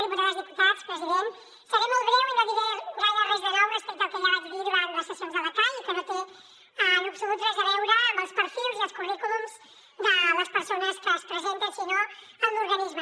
diputades diputats president seré molt breu i no diré gaire res de nou respecte al que ja vaig dir durant les sessions de la cai i que no té en absolut res a veure amb els perfils i els currículums de les persones que es presenten sinó amb l’organisme